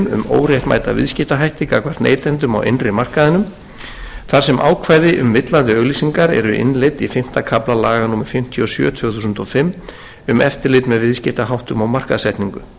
óréttmæta viðskiptahætti gagnvart neytendum á innri markaðinum þar sem ákvæði um villandi auglýsingar eru innleidd í fimmta kafla laga númer fimmtíu og sjö tvö þúsund og fimm um eftirlit með viðskiptaháttum og markaðssetningu nauðsynlegt er að